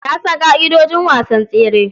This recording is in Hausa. Na san ƙa'idojin wasan tsere.